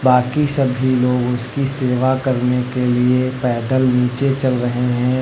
बाकी सभी लोग उसकी सेवा करने के लिए पैदल नीचे चल रहे हैं।